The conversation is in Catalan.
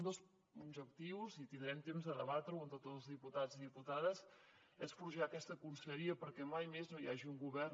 un dels objectius i tindrem temps de debatre ho amb tots els diputats i diputades és forjar aquesta conselleria perquè mai més no hi hagi un govern